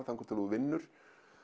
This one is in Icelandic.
þangað til að þú vinnur